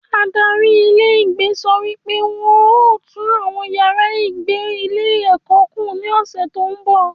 Adarí ilé ìgbé sọ wí pé wọn ó tùn àwọn yàrá ìgbé ilé ẹ̀kọ́ kùn ní ọ̀sẹ̀ tó ń bọ̀